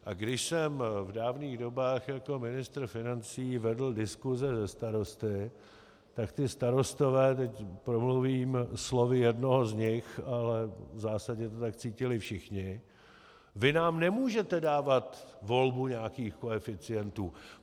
A když jsem v dávných dobách jako ministr financí vedl diskuze se starosty, tak ti starostové - teď promluvím slovy jednoho z nich, ale v zásadě to tak cítili všichni: Vy nám nemůžete dávat volbu nějakých koeficientů.